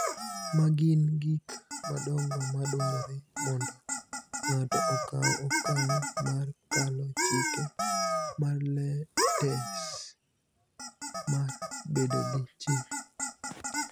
ma gin gik madongo ma dwarore mondo ng�ato okaw okang� mar kalo chik mar tes mar bedo gi chik,